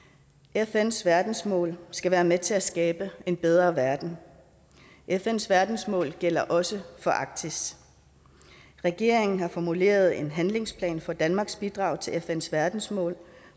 fns verdensmål skal være med til at skabe en bedre verden og fns verdensmål gælder også for arktis regeringen har formuleret en handlingsplan for danmarks bidrag til fns verdensmål